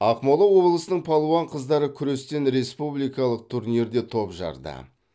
ақмола облысының палуан қыздары күрестен республикалық турнирде топ жарды